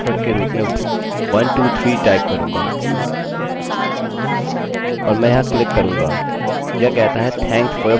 मैं थोड़ा उसको बदल देता हूँ तो यह अधिक समझ में आता है